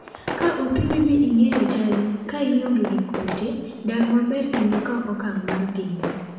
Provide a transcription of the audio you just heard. "Ka opimi mi ing'eyo chalnio, ka ionge gi kute, dag maber kendo kaw okang' mar geng'ri.